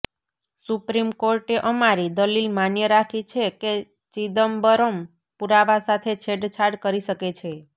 supreme કોર્ટે અમારી દલીલ માન્ય રાખી છે કે ચિદમ્બરમ પુરાવા સાથે છેડછાડ કરી શકે છે